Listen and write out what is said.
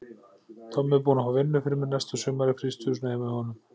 Tommi er búinn að fá vinnu fyrir mig næsta sumar í frystihúsinu heima hjá honum.